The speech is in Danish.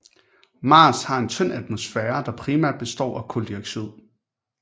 Mars har en tynd atmosfære der primært består af kuldioxid